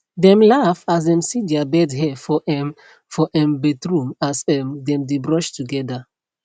dem laugh as dem see their bed hair for um for um bathroom as um dem dae brush together